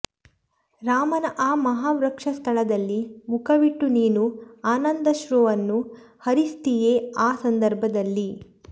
ರಾಮನ ಆ ಮಹಾವಕ್ಷಸ್ಥಳದಲ್ಲಿ ಮುಖವಿಟ್ಟು ನೀನು ಆನಂದಾಶ್ರುವನ್ನು ಹರಿಸ್ತೀಯೆ ಆ ಸಂದರ್ಭದಲ್ಲಿ